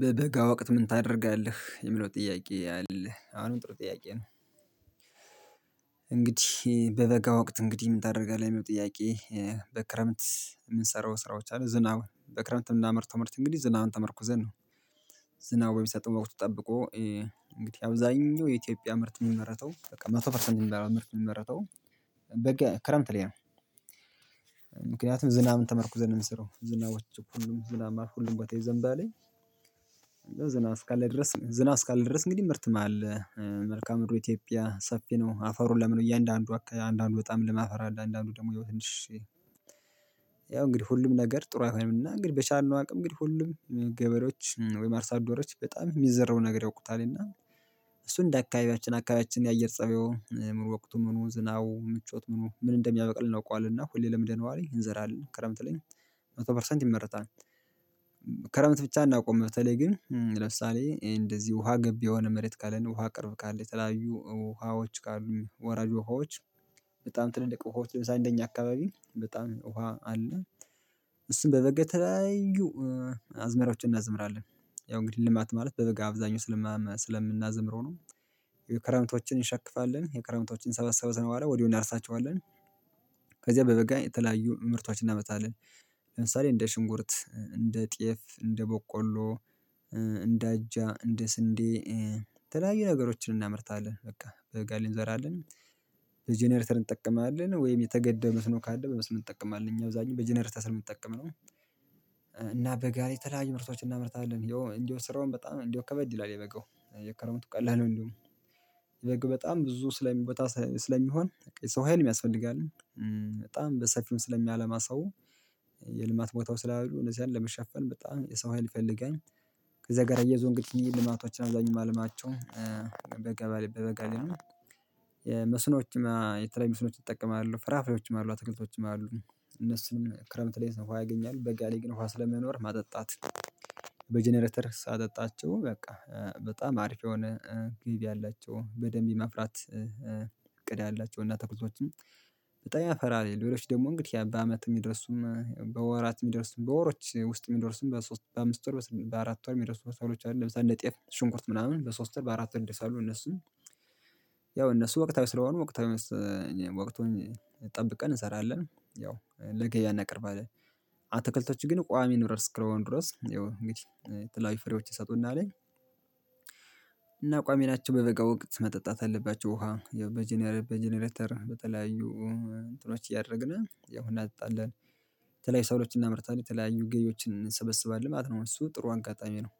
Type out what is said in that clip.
በበጋ ወቅት ምን ታደርጋለህ የሚለው ጥያቄ አለ አሁንም ጥሩ ጥያቄ ነው። እንግዲህ በበጋ ወቅት እንግዲህ ምን ታደርጋለህ የሚል ጥያቄ? በክረምት የምንሰራው ስራዎች አሉ ዝናብ በክረምት የምናመርተው ምርት እንግዲህ ዝናብን ተመርኩዘን ነው። ዝናብ በሚሰጠው ወቅት ጠብቆ እንግዲህ አብዛኛው የኢትዮጵያ ምርት የሚመረተው በቃ መቶ ፐርሰንት የሚባለው ምርት የሚመረተው በቃ ክረምት ላይ ነው። ዝናብን ተመርኩዘን ነው የምንሰረው ዝናቦች ሁሉም ዝናብ ማለት ሁሉም ቦታ ይዘንባ ለኝ። ዝናብ እስካለ ድረስ ዝናብ እስካለ ድረስ እንግዲህ ምርትም አለ። መልካአ ምድሩ ኢትዮጵያ ሰፊ ነው አፋሩ ለም ነው እያንዳንዱ አካ አንዳንዱ በጣም ልም አፈር አለ አንዳንዱ ደግሞ ትንሸ ያው እንግዲህ ሁሉም ነገር ጥሩ አይሆንም። እና እንግዲህ በቻልነው አቅም እንግዲህ ሁሉም ገበሬዎች ወይ አርሳአደሮች በጣም የሚዘረውን ነገር ያውቁታል እና። እሱን እንደ አካባቢያችን አካባቢያችን የአየር ፀባዩ ምኑ ወቅቱምኑ ዝናቡ ምቾት ምኑ ምን እንደሚያበቅል ነው እናውቀዋለን እና ሁሌ ለምደነዋ ለኝ እንዘራለን ክረምት ላይ። መቶ ፐርሰንት ይመረታል። ክረምት ብቻ አናቆምም በተለይ ግን ለምሳሌ እንደዚህ ውሃ ገብ የሆነ መሬት ካለን ውሃ ቅርብ ካለ የተለያዩ ውሃዎች ካሉ ወራጅ ውሃዎች በጣም ትልልቅ ውሃዎች ለምሳሌ አንደኛ አካባቢ በጣም ውሃ አለ እሱን በበጋ ተለያዩ አዝመራዎችን እናዝምራለን። ያው እንግዲህ ልማት ማለት በበጋ አብዛኛው ስለማማ ስለምናዘምረው ነው። የክረምቶችን እንሸክፋለን የክረምቶችን ከሰበሰብን በኋላ ወዲያው እናርሳቸዋለን። ከዛ በበጋ የተለያዩ ምርቶችን እናመርታለን። ለምሳሌ እንደ ሽንኩርት እንደ ጤፍ እንደ በቆሎ እንደ አጃ እንደ ስንዴ የተለያዩ ነገሮችን እናመርታለን በቃ በጋላይ እንዘራለን። እንጠቀማለን ወይም የተገደበመስኖ ካለ በመስኖ እንጠቀማለን እኛ አብዛኛው በጀኔሬተር ስለምንጠቀም ነው። እና በጋ የተለያዩ ምርቶችን እናመርታለን ያው እንደው ስራውን በጣም እንደው ከበድ ይላል። የበጋው የከረምቱ ቀላል ነው። እንዴውም የበጋው በጣም ብዙ ስለሚቦታ ስለሚሆን የሰው ሀይል ያስፈልጋል አለ በጣም በሰፊውም ስለሚያለማ ሰው የልማት ቦታው ስላሉ እነዚ ያን ለመሸፈን በጣም የሰው ሀይል ይፈልጋል። ከዛ ጋር አያይዞ እንግዲህ እኔ ልማቶችን አብዛኛው የማለማቸው በጋበል በበጋ ላይ ነው። የመስኖችም የተለዩ መስኖዎች እጠቀማለሁ ፍራፍሬዎችም አሉ አትክልቶችም አሉ። እነሱንም ክረምት ላይ ውሃ ያገኛሉ በጋ ላይ ግን ውሃ ስለማይኖር ማጠጣት በጀነሬተር ሳጠጣቸው በቃ በጣም አሪፍ የሆነ ገቢ አላቸው በደንብ የማፍራት። ያላቸውና ተኩሶዎችም በጣም ያፈራል ሌሎች ደግሞ እንግዲህ በአመት የሚደርሱም በወራት የሚደርሱም በወሮች ውስጥ የሚደርሱም በሶስት በአምስት ወርበስ በአራት ወር የሚደረሱ ሰብሎች አሉ። ለምሳሌ እነጤፍ ሽንኩርት ምናምን በሶስት ወር በአራት ወር ይደርሳሉ እነሱም ያው እነሱ ወቅታዊ ስለሆኑ ወቅታዊ ወቅቱን ጠብቀን እንሰራለን ያው ለገበያ እናቀርባለን። አትክልቶቹ ግን ቋሚ ንብረት እስከሆኑ ድረስ ያው እንግዲህ የተለያዩ ፍሬዎችን ይሰጡና አለኝ። እና ቋሚናቸው በበጋ ወቅት መጠጣት አለባቸው ውሃ በጀነሬተር በተለያዩ እንትኖች እያደረግን ያው እናጠ ጣለን። በተለይ ሰብሎችን እናምርታለን የተለያዩ ገቢዎችን እንሰበስባለን ማለት ነው እሱ ጥሩ አጋጣሚ ነው።